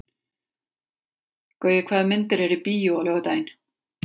Gaui, hvaða myndir eru í bíó á laugardaginn?